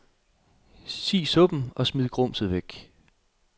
Si suppen, og smid gumset væk.